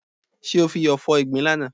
Ṣé o fi iyọ̀ fọ ìgbín lánàá?